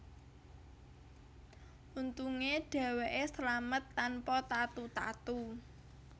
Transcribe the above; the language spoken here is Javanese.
Untunge dheweke slamet tanpa tatu tatu